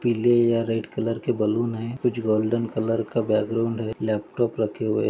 पीले या red colour के बलून है कुछ गोल्डन कलर का बैकग्राउंड है लैपटॉप रखे हुए--